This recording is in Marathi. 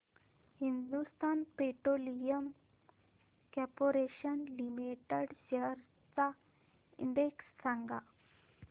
Hindustan petroleum corporation limited shares चा इंडेक्स सांगा